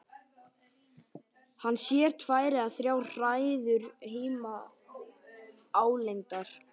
Hann sér tvær eða þrjár hræður híma álengdar.